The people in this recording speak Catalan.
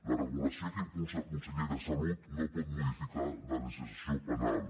la regulació que impulsa el conseller de salut no pot modificar la legislació penal